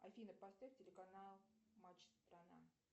афина поставь телеканал матч страна